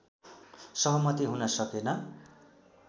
सहमति हुन सकेन